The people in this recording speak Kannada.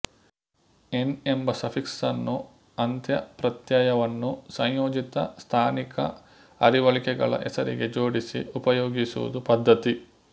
ಏನ್ ಎಂಬ ಸಫಿಕ್ಸನ್ನು ಅಂತ್ಯಪ್ರತ್ಯಯವನ್ನು ಸಂಯೋಜಿತ ಸ್ಥಾನಿಕ ಅರಿವಳಿಕೆಗಳ ಹೆಸರಿಗೆ ಜೋಡಿಸಿ ಉಪಯೋಗಿಸುವುದು ಪದ್ಧತಿ